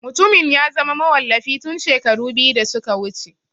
Mutumin ya zama mawallafi tun shekaru biyu da suka wuce.